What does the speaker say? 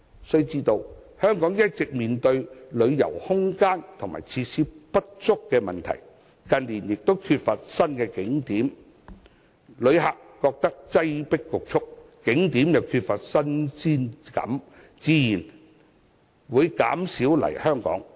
須知道香港一直面對旅遊空間和設施不足的問題，近年亦缺乏新景點，旅客感到擠迫侷促，景點又缺乏新鮮感，自然會減少來港。